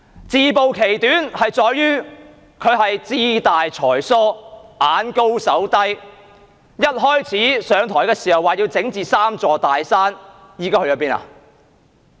自暴其短，問題在於她志大才疏、眼高手低，在上台初期，說要整治"三座大山"，現在去了哪裏？